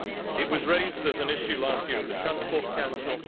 It was raised as an issue last year at the Transport Council